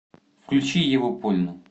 включи еву польну